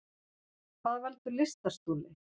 Hvað veldur lystarstoli?